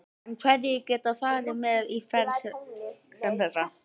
En hverjir geta farið með í ferð sem þessa?